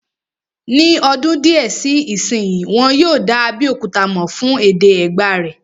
Ní ọdún díẹ̀ sí ìsínyi, wọ́n yóò dá Abéòkúta mọ̀ fún èdè Ẹ̀gbá rẹ̀